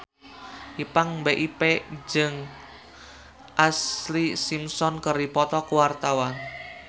Ipank BIP jeung Ashlee Simpson keur dipoto ku wartawan